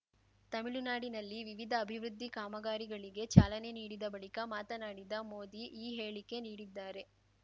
ತಮಿಳುನಾಡಿನಲ್ಲಿ ವಿವಿಧ ಅಭಿವೃದ್ಧಿ ಕಾಮಗಾರಿಗಳಿಗೆ ಚಾಲನೆ ನೀಡಿದ ಬಳಿಕ ಮಾತನಾಡಿದ ಮೋದಿ ಈ ಹೇಳಿಕೆ ನೀಡಿದ್ದಾರೆ